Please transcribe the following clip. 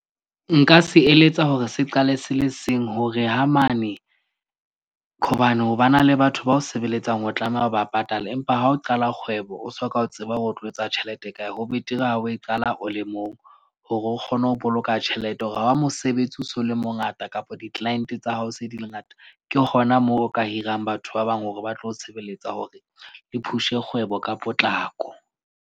Nka se eletsa hore se qale se le seng hore ha mane, hobane ho ba na le batho ba o sebeletsang, o tlameha o ba patale. Empa ha o qala kgwebo, o soka, o tseba o tlo etsa tjhelete kae, ho betere ha o e qala o o le mong. Hore o kgone ho boloka tjhelete hore ha mosebetsi o so le mongata kapa di-client tsa hao se di le ngata. Ke hona moo o ka hirang batho ba bang hore ba tlo o sebeletsa hore le push-e kgwebo ka potlako.